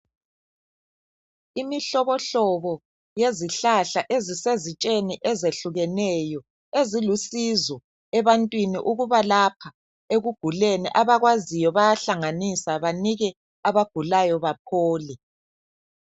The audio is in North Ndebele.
Imihlobohlobo yezihlahla ezisezitsheni ezehlukeneyo, ezilusizo ebantwini ukubalapha ekuguleni. Abakwaziyo bayahlanganisa banike abagulayo baphole.